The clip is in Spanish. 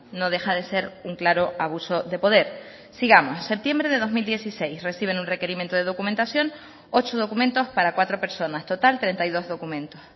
no deja de ser un claro abuso de poder sigamos septiembre de dos mil dieciséis reciben un requerimiento de documentación ocho documentos para cuatro personas total treinta y dos documentos